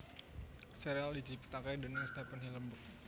Sérial ini diciptakaké déning Stephen Hillenburg